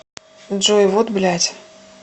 джой вот блядь